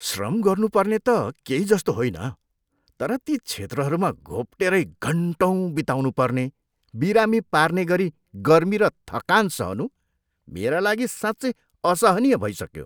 श्रम गर्नुपर्ने त केही जस्तो होइन, तर ती क्षेत्रहरूमा घोप्टेरै घन्टौँ बिताउनु पर्ने, बिरामी पार्ने गरी गर्मी र थकान सहनु मेरा लागि साँच्चै असहनीय भइसक्यो।